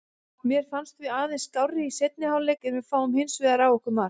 Mér fannst við aðeins skárri í seinni hálfleik en fáum hinsvegar á okkur mark.